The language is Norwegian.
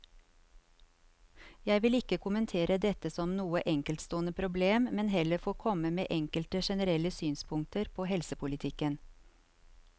Jeg vil ikke kommentere dette som noe enkeltstående problem, men heller få komme med enkelte generelle synspunkter på helsepolitikken.